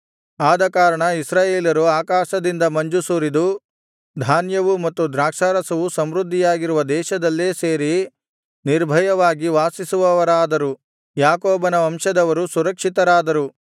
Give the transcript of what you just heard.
ಆದಕಾರಣ ಇಸ್ರಾಯೇಲರು ಆಕಾಶದಿಂದ ಮಂಜು ಸುರಿದು ಧಾನ್ಯವೂ ಮತ್ತು ದ್ರಾಕ್ಷಾರಸವೂ ಸಮೃದ್ಧಿಯಾಗಿರುವ ದೇಶದಲ್ಲೇ ಸೇರಿ ನಿರ್ಭಯವಾಗಿ ವಾಸಿಸುವವರಾದರು ಯಾಕೋಬನ ವಂಶದವರು ಸುರಕ್ಷಿತರಾದರು